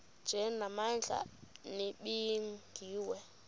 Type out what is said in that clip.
nje namhla nibingiwe